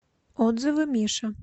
отзывы миша